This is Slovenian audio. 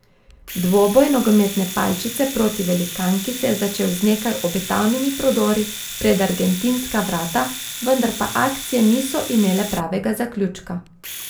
Dvoboj nogometne palčice proti velikanki se je začel z nekaj obetavnimi prodori pred argentinska vrata, vendar pa akcije niso imele pravega zaključka.